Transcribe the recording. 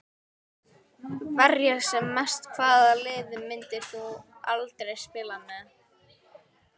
Verja sem mest Hvaða liði myndir þú aldrei spila með?